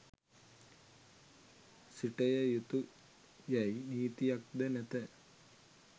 සිටය යුතු යයි නීතියක්ද නැත.